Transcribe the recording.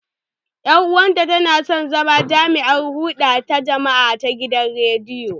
Ƴar uwata tana son zama jami'ar hulɗa da jama'a ta gidan rediyo.